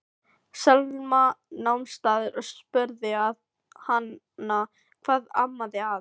Selma nam staðar og spurði hana hvað amaði að.